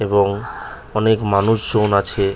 এবং অনেক মানুষ জন আছে।